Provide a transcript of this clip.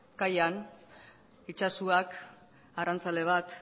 kaian itsasoak arrantzale bat